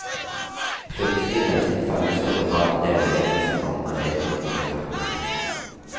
Plutselig reiste en fange seg og ba leirledelsen om anledning til å takke.